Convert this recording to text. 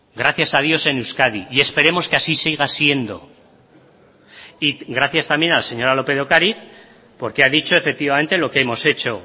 gracias a dios en euskadi y esperemos que así siga siendo y gracias también a la señora lópez de ocariz porque ha dicho efectivamente lo que hemos hecho